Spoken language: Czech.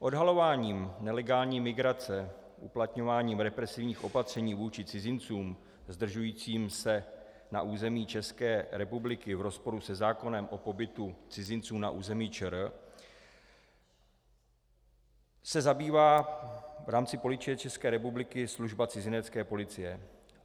Odhalováním nelegální migrace, uplatňováním represivních opatřeních vůči cizincům zdržujícím se na území České republiky v rozporu se zákonem o pobytu cizinců na území ČR se zabývá v rámci Policie České republiky služba cizinecké policie.